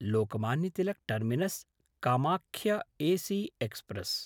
Lokmanya Tilak टर्मिनस्–कामाख्य AC express